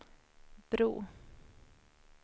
bro